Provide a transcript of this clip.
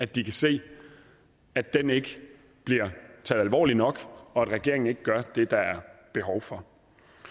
de kan se at den ikke bliver taget alvorligt nok og at regeringen ikke gør det der er behov for